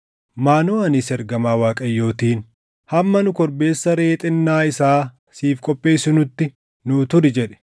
Maanoʼaanis ergamaa Waaqayyootiin, “Hamma nu korbeessa reʼee xinnaa isaa siif qopheessinutti nuu turi” jedhe.